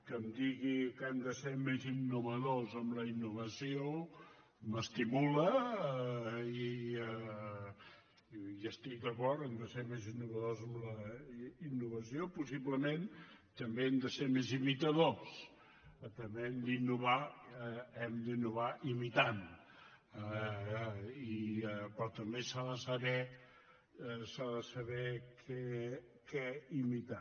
que em digui que hem de ser més innovadors amb la innovació m’estimula i estic d’acord a ser més innovadors en la innovació possiblement també hem de ser més imitadors també hem d’innovar imitant però també s’ha de saber què imitar